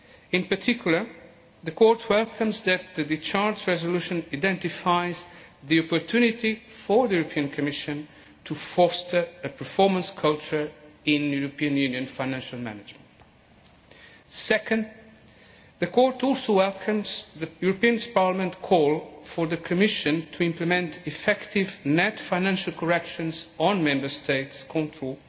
In particular, the Court welcomes the fact that the discharge resolution identifies the opportunity for the Commission to foster a performance culture in European Union financial management. Second, the Court also welcomes Parliament's call for the Commission to implement effective net financial corrections on Member States' controls